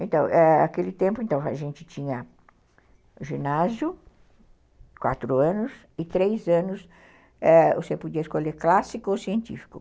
Então, ãh, naquele tempo, a gente tinha ginásio, quatro anos, e três anos, eh, você podia escolher clássico ou científico.